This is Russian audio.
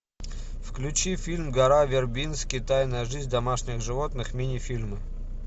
включи фильм гора вербински тайная жизнь домашних животных мини фильмы